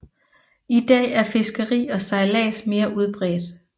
I dag er fiskeri og sejlads mere udbredt